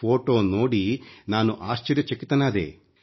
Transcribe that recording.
photo ನೋಡಿ ನಾನು ಆಶ್ಚರ್ಯಚಕಿತನಾದೆ